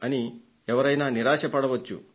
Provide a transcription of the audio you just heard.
అని ఎవరైనా నిరాశకు లోనుకావచ్చు